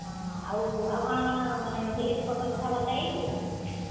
ହଁ, ଆଉ କାଣା କାଣା salary ପତର କଥା ବାର୍ତା ହେଇଛୁ।